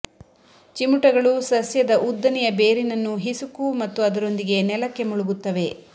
ಚಿಮುಟಗಳು ಸಸ್ಯದ ಉದ್ದನೆಯ ಬೇರಿನನ್ನು ಹಿಸುಕು ಮತ್ತು ಅದರೊಂದಿಗೆ ನೆಲಕ್ಕೆ ಮುಳುಗುತ್ತವೆ